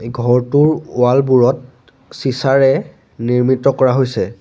ঘৰটোৰ ৱাল বোৰত চিচাৰে নিৰ্মিত কৰা হৈছে।